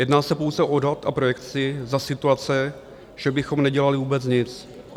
Jedná se pouze o odhad a projekci za situace, že bychom nedělali vůbec nic.